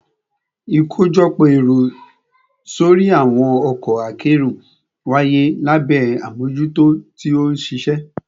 Ikojọpọ ẹru sori awọn ọkọ akero waye labẹ amojuto ti oṣiṣẹ